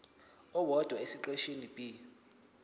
owodwa esiqeshini b